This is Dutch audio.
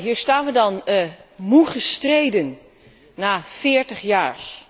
Hier staan we dan moe gestreden na veertig jaar.